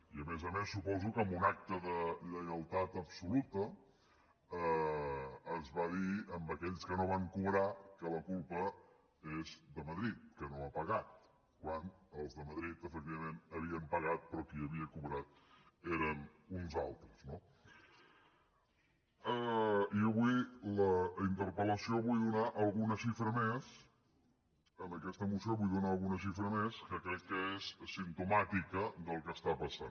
i a més a més suposo que en un acte de lleialtat absoluta es va dir a aquells que no van cobrar que la culpa és de madrid que no ha pagat quan els de madrid efectivament havien pagat però qui havia cobrat eren uns altres no i avui en la interpel·lació vull donar alguna xifra més en aquesta moció vull donar alguna xifra més que crec que és simptomàtica del que està passant